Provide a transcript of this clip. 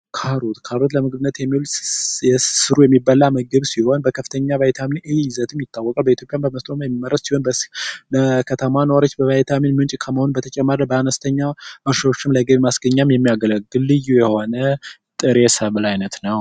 ካሮት: ካሮት ለምግብነት የሚዉል ስሩ የሚበላ ምግብ ሲሆን በከፍተኛ በቫይታሚን ኤ ይዘትም ይታወቃል በኢትዮጵያ በመስኖም የሚመረት ሲሆን በከተማ ኗሪወች በቫይታሚን ምንጭ ከመሆኑም የቸነሳ በአነስተኛ ማሶች ለገቢ ማስገኛ የሚያገለግል ልዩ የሆነ ጥሬ ሰብል አይነት ነዉ።